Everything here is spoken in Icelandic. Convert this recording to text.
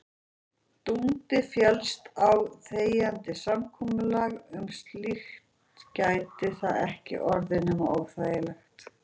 Dundi féllist á þegjandi samkomulag um slíkt gæti það ekki orðið nema óþægilegt.